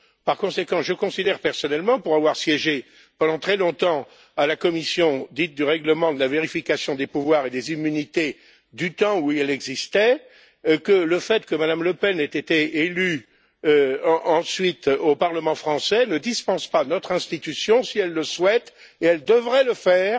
Par conséquent, je considère personnellement, pour avoir siégé pendant très longtemps à la commission dite du règlement, de la vérification des pouvoirs et des immunités, du temps où elle existait, que le fait que Mme Le Pen ait été élue ensuite au Parlement français ne dispense pas notre institution, si elle le souhaite et elle devrait le faire